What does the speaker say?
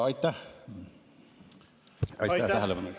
Aitäh tähelepanu eest!